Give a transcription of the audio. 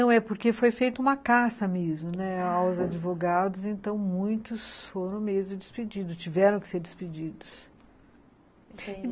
Não, é porque foi feita uma caça mesmo, né, aos advogados, então muitos foram mesmo despedidos, tiveram que ser despedidos.